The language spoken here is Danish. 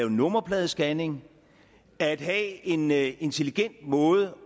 og nummerpladescanning at have en intelligent måde